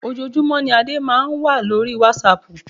Ojoojúmọ́ ní Adé máa ń wà lórí wásaàpù.